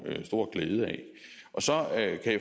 glæde af så